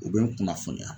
U bɛ n kunnafoniya